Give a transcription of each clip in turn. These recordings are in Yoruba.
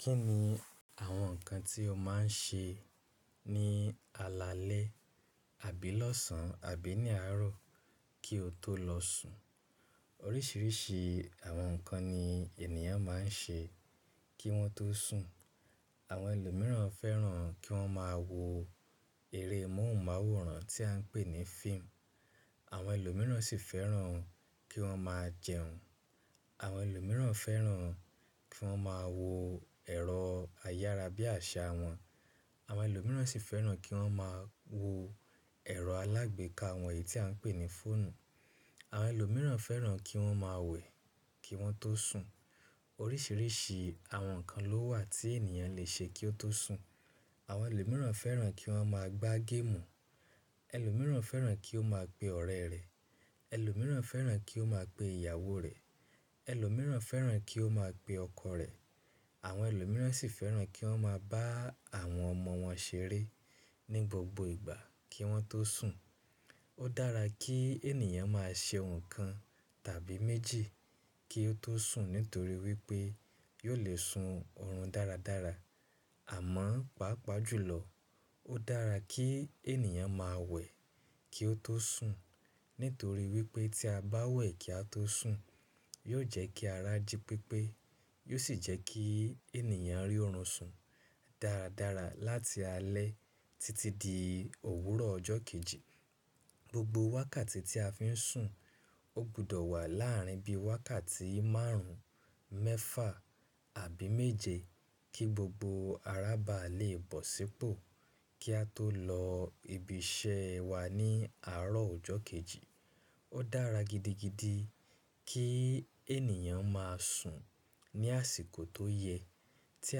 Kí ni àwọn nǹkan tí o máa ń ṣe ní alaalẹ́ àbí lọ́sàn-án àbí ní àárọ̀ kí o tó lọ sùn? Oríṣiríṣi àwọn nǹkan ni ènìyàn máa ń ṣe kí wọ́n tó sùn. Àwọn ẹlòmíràn fẹ́ràn kí wọ́n máa wo eré móhùnmáwòrán tí a ń pè ní fíìmù. Àwọn ẹlòmíràn sì fẹ́ràn kí wọ́n máa jẹun. Àwọn ẹlòmíràn fẹ́ràn kí wọ́n máa wo ẹ̀rọ ayára bí àṣá wọn. Àwọn ẹlòmíràn sì fẹ́ràn kí wọ́n máa wo ẹ̀rọ alágbèéká wọ̀nyí tí a ń pè ní fóònù. Àwọn ẹlòmíràn fẹ́ràn kí wọ́n máa wẹ̀ kí wọ́n tó sùn. Oríṣiríṣi àwọn nǹkan ló wà tí ènìyàn le ṣe kí ó tó sùn. Àwọn ẹlòmíràn fẹ́ràn kí wọ́n máa gbá géèmù. Ẹlòmíràn fẹ́ràn kí ó máa pe ọ̀rẹ́ rẹ̀. Ẹlòmíràn fẹ́ràn kí ó máa pe ìyàwó rẹ̀. Ẹlòmíràn fẹ́ràn kí ó máa pe ọkọ rẹ̀. Àwọn ẹlòmíràn sì fẹ́ràn kí wọ́n máa bá àwọn ọmọ wọn ṣeré ní gbogbo ìgbà kí wọ́n tó sùn. Ó dára kí ènìyàn máa ṣe nǹkan tàbí méjì kí ó tó sùn nítorí wípé yóò le sun ọ̀run dáradára. Àmọ́, pàápàá jùlọ ó dára kí ènìyàn máa wẹ̀ kí ó tó sùn nítorí wípé tí a bá wẹ̀ kí a tó sùn, yóò jẹ́ kí ara jí pépé, yóò sì jẹ́ kí ènìyàn rí ọ̀run sùn dáradára láti alẹ́ títí di òwúrọ̀ ọjọ́ kejì. Gbogbo wákàtí tí a fi ń sùn ó gbọdọ̀ wà láàárín bí i wákàtí márùn-ún, mẹ́fà àbí méje kí gbogbo ará ba lè bọ̀ sípò kí a tó lọ ibi iṣẹ́ wa ní àárọ̀ ọjọ́ kejì. Ó dára gidigidi kí ènìyàn máa sùn ní àsìkò tó yẹ. Tí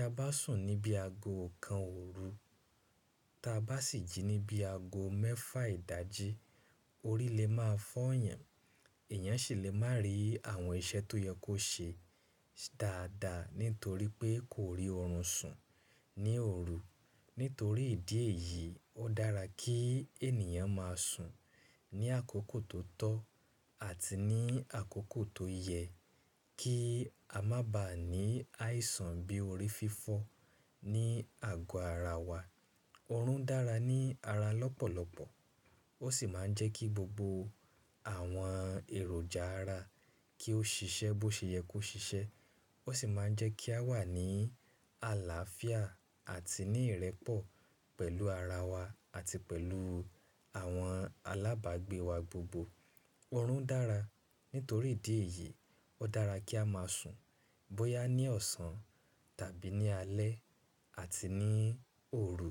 a bá sùn níbi ago kan òru ta bá sì jí níbi ago mẹ́fà ìdájí, orí lè máa fọ́yàn. Ẹ̀yàn sì lè má ri àwọn iṣẹ́ tó yẹ kó ṣe dáadáa nítorí pé kò rí ọ̀run sùn ní òru. Nítorí ìdí èyí, ó dára kí ènìyàn máa sùn ní àkókò tó tọ́ àti ní àkókò tó yẹ kí a má ba à ní áìsàn bí orí fífọ́ ní ago ara wa. Ọ̀run dára ní ara lọ́pọ̀lọpọ̀. Ó sì máa ń jẹ́ kí gbogbo àwọn èròjà ara kí ó ṣiṣẹ́ bó ṣe yẹ kó ṣiṣẹ́. Ó sì máa ń jẹ́ kí a wà ní àlàáfíà àti ní ìrẹ́pọ̀ pẹ̀lú ara wa àti pẹ̀lú àwọn alábàágbé wa gbogbo. Ọ̀run dára. Nítorí ìdí èyí, ó dára kí á máa sùn bóyá ní ọ̀sán tàbí ní alẹ́ àti ní òru.